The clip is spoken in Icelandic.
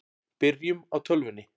Byrjum á tölvunni.